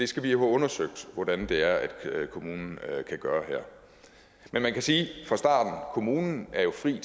skal have undersøgt hvordan det er kommunen kan gøre her men man kan sige at kommunen jo er fri